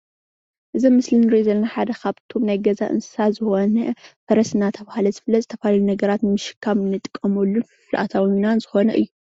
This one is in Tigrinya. እዚ ኣብ ምስሊ እንሪኦ ዘለና ሓደ ካብቶም ናይ ገዛ እንስሳ ዝኮነ ፈረስ እናተባሃለ ዝፍለጥ ዝተፈላለዩ ነገራት ንምሽካም እንጥቀመሉን ፍልፍል ኣታዊናን ዝኮነ እዩ፡፡